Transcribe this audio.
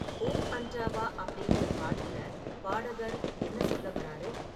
ஊ அண்டாவா' அப்படிங்குற பாட்டுல பாடகர் என்ன சொல்ல வர்றாரு?